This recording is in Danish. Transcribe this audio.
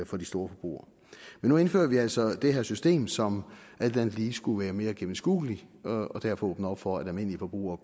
for de store forbrugere men nu indfører vi altså det her system som alt andet lige skulle være mere gennemskueligt og derfor åbne op for at almindelige forbrugere